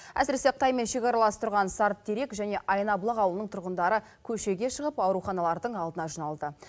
әсіресе қытаймен шекаралас тұрған сарытерек және айнабұлақ ауылының тұрғындары көшеге шығып ауруханалардың алдына жиналды